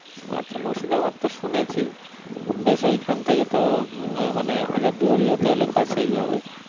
আচ্ছা মুর্শিদাবাদ তো শুনেছি বেশ ঐখান থেকে তো মানে হাজারদুয়ারিও তাহলে কাছে ই হবে।